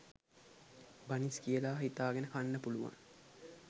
බනිස් කියලා හිතාගෙන කන්න පුළුවන්